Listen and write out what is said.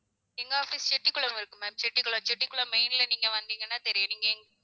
எங்க office செட்டிகுளம்ல இருக்கு ma'am செட்டிகுளம் செட்டிகுளம் main ல நீங்க வந்தீங்கன்னா தெரியும் நீங்க எங்~